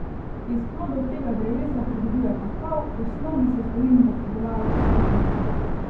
Iz plodov tega drevesa pridobivajo kakav, osnovno sestavino za pridelavo čokolade.